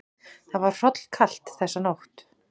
Það var hrollkalt þessa nótt.